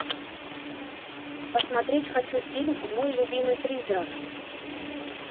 посмотреть хочу фильм мой любимый призрак